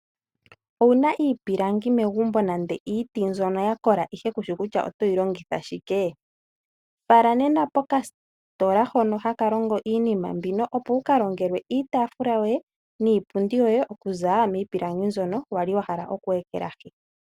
Owu na iipilangi megumbo nenge iiti mbyono ya kola ihe kushi kutya otoyi longitha shikee? Oto vulu oku yi fala pomahala mpono hapu ndulukiwapo iinima mbyoka ya za miiti ngaashi iipundi niitaafula.